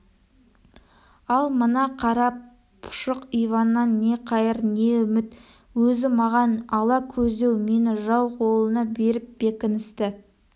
ал мына қара пұшық иваннан не қайыр не үміт өзі маған ала көздеу мені жау қолына беріп бекіністі